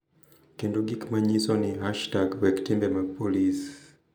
Kendo gik ma nyiso ni # WekTimbe mag Polis.